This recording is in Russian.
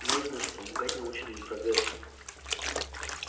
нужно же помогать научному прогрессу